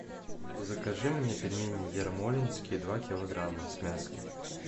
закажи мне пельмени ермолинские два килограмма с мясом